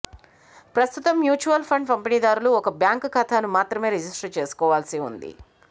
ప్రస్తుతం మ్యూచువల్ఫండ్ పంపిణీ దారులు ఒక బ్యాంకు ఖాతాను మాత్రమే రిజిష్టరు చేసుకోవాల్సి ఉంది